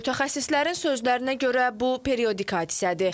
Mütəxəssislərin sözlərinə görə bu periodik hadisədir.